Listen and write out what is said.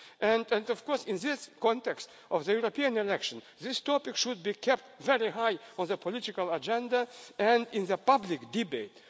do more. And, of course, in the context of the European elections, this topic should be kept very high on the political agenda and in public